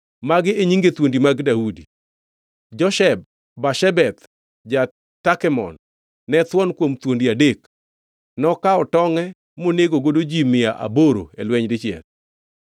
Magi e nyinge thuondi mag Daudi: Josheb-Bashebeth ja-Takemon, ne thuon kuom thuondi adek; nokawo tongʼe monegogo ji mia aboro e lweny dichiel.